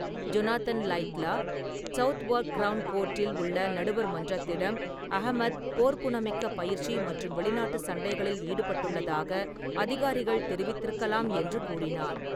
Jonathan Laidlaw, Southwark crown கோர்ட்டில் உள்ள நடுவர் மன்றத்திடம், அஹ்மத் போர்க்குணமிக்க பயிற்சி மற்றும் வெளிநாட்டு சண்டைகளில் ஈடுபட்டுள்ளதாக அதிகாரிகள் தெரிவித்திருக்கலாம் என்று கூறினார்.